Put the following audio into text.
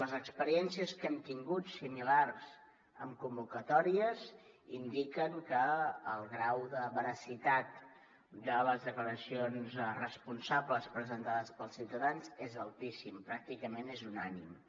les experiències que hem tingut similars en convocatòries indiquen que el grau de veracitat de les declaracions responsables presentades pels ciutadans és altíssim pràcticament és unànime